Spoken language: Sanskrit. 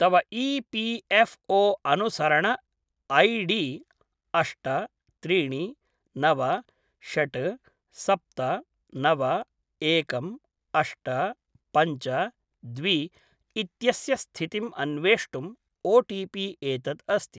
तव ई पी एफ़् ओ अनुसरण ऐ डी अष्ट त्रीणि नव षट् सप्त नव एकम् अष्ट पञ्च द्वे इत्यस्य स्थितिम् अन्वेष्टुम् ओटिपि एतत् अस्ति।